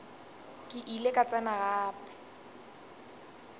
ke ile ka tsena gape